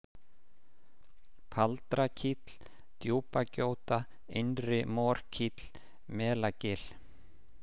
Paldrakíll, Djúpagjóta, Innri-Morkíll, Melagil